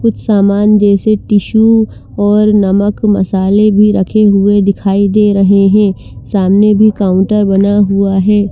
कुछ सामान जैसे टिसू और नमक मसाले भी रखे हुए दिखाई दे रहे हैं सामने भी काउंटर बना हुआ हैं।